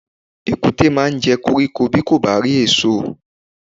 Èkúté máa jẹ koríko bí kò bá rí èsò.